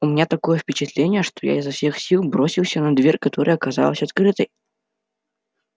у меня такое впечатление что я изо всех сил бросился на дверь которая оказалась открытой